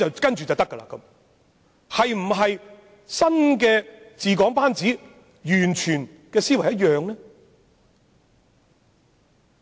新治港班子的思維是否和之前完全一樣呢？